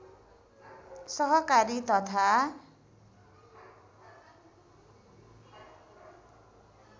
सहकारी तथा